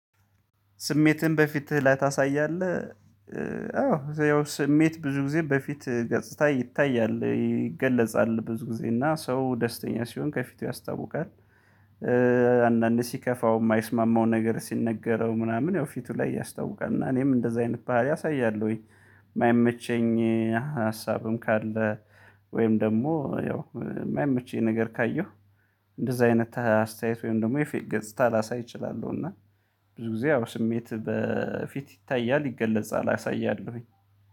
ስሜትን በፊትህ ላይ ታሳያለ? አዎ ያው ስሜት ብዙ ጊዜ በፊት ገጽታ ይታያል ይገለጻል ብዙ ጊዜ እና ሰው ደስተኛ ሲሆን ከፊቱ ያስታውቃል አንዳንድ ሲከፋው የማይስማማው ነገር ሲነገረው ምናምን ያው ፊቱ ላይ ያስታውቃል እና እኔም እንደዚህ አይነት ባህሪ አሳያለሁኝ ወይ የማይመቸኝ ሀሳብም ካለ ወይም ደግሞ ያው የማይመቸኝ ነገር ካየሁ እንደዛ አይነት አስተያየት ወይም ደግሞ የፌት ገጽታ ላሳይ እችላለሁ እና ብዙ ጊዜ ያው ስሜት በፊት ይታያል ይገለጻል አሳያለሁኝ።